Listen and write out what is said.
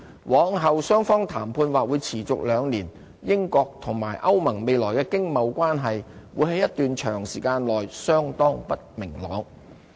往後雙方的談判或會持續兩年，英國和歐盟未來的經貿關係會在一段長時間內相當不明朗。